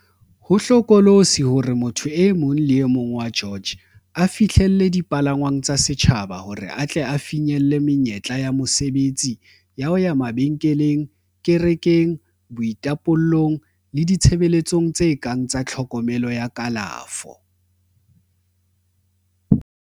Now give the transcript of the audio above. Ho hlokolosi hore motho e mong le e mong wa George a fihlelle dipalangwang tsa setjhaba hore a tle a finyelle menyetla ya mosebetsi, ya ho ya mabenkeleng, kerekeng, boitapollong le ditshebeletsong tse kang tsa tlhokomelo ya kalafo.